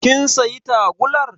Kin sayi tagullar